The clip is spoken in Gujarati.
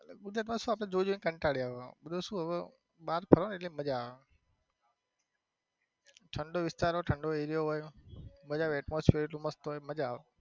ગુજરાત માં સુ આપડે જોઈ જોઈ ને કંટાળ્યા હોય. પેલું સુ બાર ફરો ને મજા આવે ઠંડો વિસ્તાર હોય ઠંડો area હોય મજા આવે.